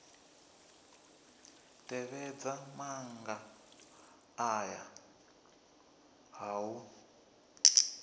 tevhedza maga aya a u